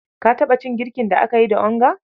Ka taɓa cin girkin da aka yi da onga?